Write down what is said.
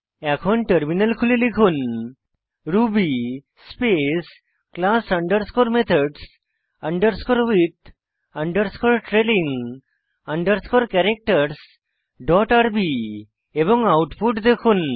এখন টার্মিনাল খুলে লিখুন Ruby space class underscore methods underscore with underscore trailing underscore ক্যারাক্টারসহ ডট আরবি এবং আউটপুট দেখুন